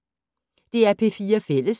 DR P4 Fælles